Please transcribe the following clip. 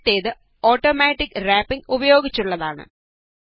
ആദ്യത്തേത് automatic wrapping ഉപയോഗിച്ചുള്ളതാണ്